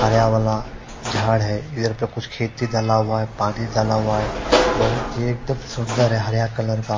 जाड है यह पे कुछ खेती जला हुआ है पानी जला हुआ है बहोत ही एक दम सुन्दर है हरा कलर का--